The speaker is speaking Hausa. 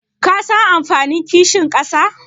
Kasan amfanin kishin ƙasa?